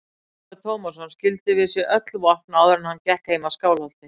Ólafur Tómasson skildi við sig öll vopn áður en hann gekk heim að Skálholti.